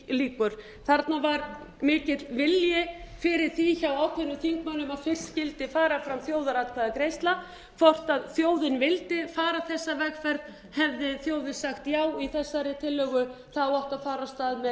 þarna var mikill vilji fyrir því hjá ákveðnum þingmönnum að fyrst skyldi fara fram þjóðaratkvæðagreiðsla um hvort þjóðin vildi fara þessa vegferð hefði þjóðin sagt já við þeirri tillögu átti að fara af stað með